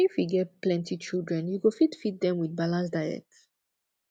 if you get plenty children you go fit feed dem wit balanced diet